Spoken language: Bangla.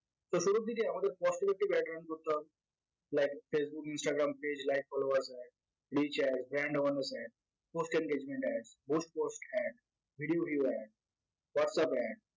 তো শুরুর দিকে আমাদের cost effective ad run করতে হবে like facebook instagram page like followers brand awaerness ad post engagement ad ghost post ad video view ad whatsapp ad